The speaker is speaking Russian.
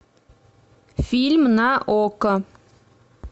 фильм на окко